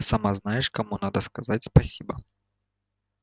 сама знаешь кому надо сказать спасибо